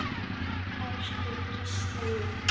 Elsku Gísli minn.